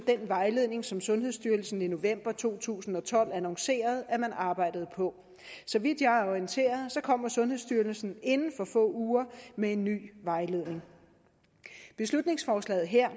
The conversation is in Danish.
vejledning som sundhedsstyrelsen i november to tusind og tolv annoncerede at man arbejdede på så vidt jeg er orienteret kommer sundhedsstyrelsen inden for få uger med en ny vejledning beslutningsforslaget her